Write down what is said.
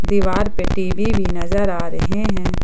दीवार पे टी_वी भी नजर आ रहे हैं।